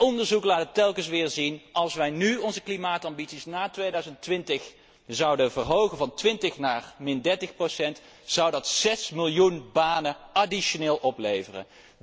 Onderzoek laat telkens weer zien dat als wij nu onze klimaatambities na 2020 zouden verhogen van 20 naar 30 procent, dat zes miljoen extra banen zou opleveren.